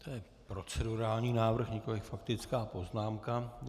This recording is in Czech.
To je procedurální návrh, nikoliv faktická poznámka.